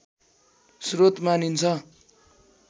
श्रोत मानिन्छ